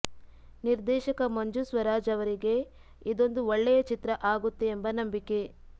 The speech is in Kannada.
ನಿರ್ದೇಶಕ ಮಂಜು ಸ್ವರಾಜ್ ಅವರಿಗೆ ಇದೊಂದು ಒಳ್ಳೆಯ ಚಿತ್ರ ಆಗುತ್ತೆ ಎಂಬ ನಂಬಿಕೆ